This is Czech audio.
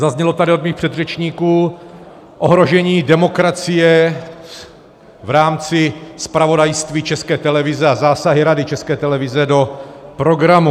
Zaznělo tady od mých předřečníků ohrožení demokracie v rámci zpravodajství České televize a zásahy Rady České televize do programu.